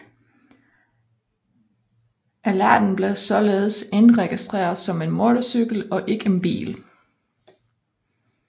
Ellerten blev således indregistreret som en motorcykel og ikke en bil